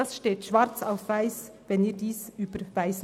Das steht schwarz auf weiss geschrieben.